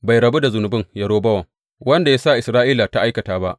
Bai rabu da zunubin Yerobowam, wanda ya sa Isra’ila ta aikata ba.